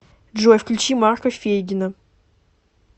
джой включи марка фейгина